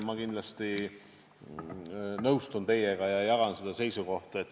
Ma kindlasti nõustun teiega ja jagan seda seisukohta.